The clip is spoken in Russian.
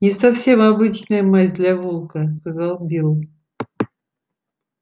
не совсем обычная масть для волка сказал билл